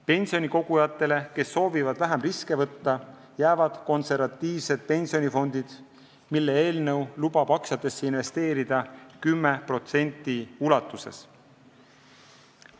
Pensionikogujatele, kes soovivad vähem riske võtta, jäävad konservatiivsed pensionifondid, millel eelnõu lubab aktsiatesse investeerida 10% ulatuses.